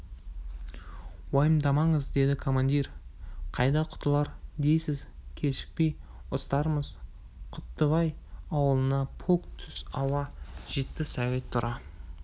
уайымдамаңыз деді командир қайда құтылар дейсіз кешікпей ұстармыз құттыбай ауылына -полк түс ауа жетті сағит тура